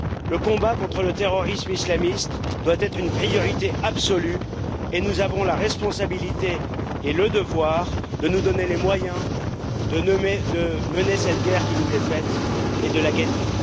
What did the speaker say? Le combat contre le terrorisme islamiste doit être une priorité absolue et nous avons la responsabilité et le devoir de nous donner les moyens de mener cette guerre qui nous est faite, et de la gagner.